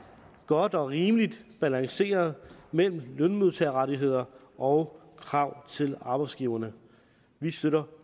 godt og rimeligt balanceret mellem lønmodtagerrettigheder og krav til arbejdsgiverne vi støtter